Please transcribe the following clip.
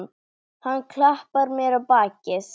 Hann klappar mér á bakið.